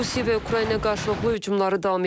Rusiya və Ukrayna qarşılıqlı hücumları davam etdirir.